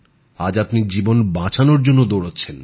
আজ আপনি জীবন বাঁচানোর জন্য দৌড়চ্ছেন